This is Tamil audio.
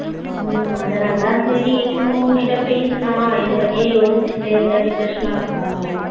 உம் அதனாலத சரி சும்மா உன்கிட்ட பேசலாம் இத பத்தியே யோசிட்டே இருந்த depression னா இருக்கும்.